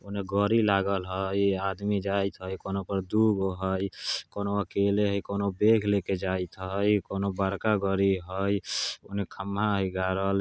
औने गड़ी लागल हय आदमी जाइत हय कोनो पर दु गाे हय कोनो अकेले हय कोनो बेग लेके जाइत हय कोनों बड़का गड़ी हय ओने खंभा हय गाड़ल।